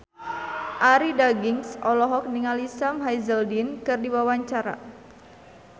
Arie Daginks olohok ningali Sam Hazeldine keur diwawancara